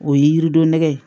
O ye yirido nɛgɛ ye